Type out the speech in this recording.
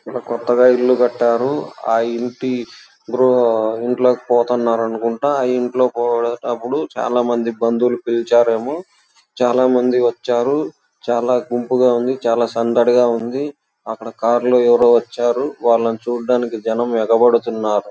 ఒక కొత్తగా ఇల్లు కట్టారు. ఆ ఇళ్ళకి గృహ పోతున్నారు అనుకుంట. ఆ ఇంటికి పోయేటప్పుడు చాల మంది బంధువులను పిలిచారు ఏమో. చాలా మంది వచ్చారు. చాల గుంపుగా ఉంది. చాలా సందడిగా ఉంది. అక్కడ కార్ లో ఎవరో వచ్చారు. అది చూడటానికి జనం ఎగబడితున్నారు.